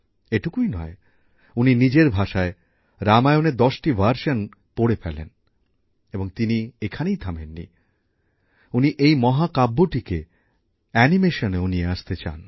এটুকুই নয় উনি নিজের ভাষায় রামায়ণের ১০টি সংস্করণ পড়ে ফেলেন এবং তিনি এখানেই থামেন নি উনি এই মহাকাব্যটিকে অ্যানিমেশনেও নিয়ে আসতে চান